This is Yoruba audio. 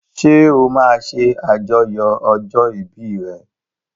Ṣé o máa ṣe àjọyọ̀ ọjọ́ ìbí re?